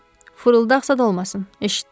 Fırıldaqçı da olmasın, eşitdin?